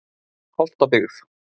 Holtabyggð